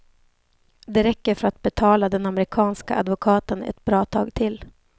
Det räcker för att betala den amerikanska advokaten ett bra tag till.